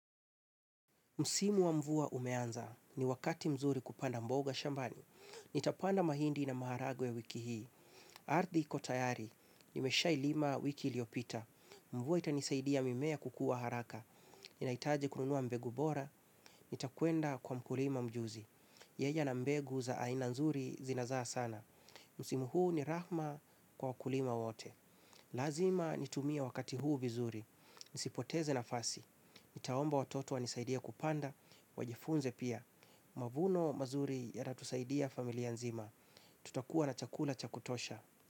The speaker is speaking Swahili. Msimu wa mvua umeanza. Ni wakati mzuri kupanda mboga shambani. Nitapanda mahindi na maharagwe wiki hii. Ardhi iko tayari. Nimeshailima wiki liopita. Mvua itanisaidia mimea kukua haraka. Ninahitaji kununua mbegu bora. Nitakwenda kwa mkulima mjuzi. Yaja na mbegu za aina nzuri zinazaa sana. Msimu huu ni rahma kwa wakulima wote. Lazima nitumia wakati huu vizuri. Nisipoteze nafasi. Nitaomba watoto wanisaidie kupanda. Wajifunze pia. Mavuno mazuri yatatusaidia familia nzima. Tutakuwa na chakula cha kutosha.